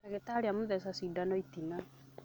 Ndagĩtarĩ amũtheca sindano itina